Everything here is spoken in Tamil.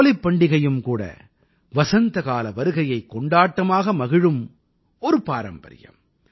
ஹோலிப் பண்டிகையும் கூட வசந்தகால வருகையைக் கொண்டாட்டமாக மகிழும் ஒரு பாரம்பரியம்